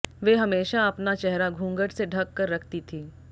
वे हमेशा अपना चेहरा घूंघट से ढंक कर रखती थी